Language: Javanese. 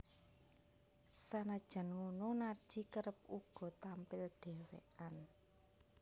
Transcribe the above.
Sanajan ngono Narji kerep uga tampil dhewékan